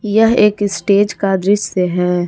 यह एक स्टेज का दृश्य है।